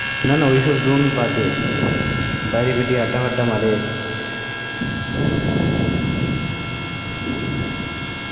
না না ওই সব জন বাদ দে বাইরে বেরিয়ে আড্ডা ওদ্দা মারে